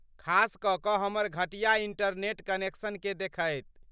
खास कऽ कऽ हमर घटिया इंटरनेट कनेक्शनकेँ देखैत।